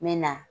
N bɛ na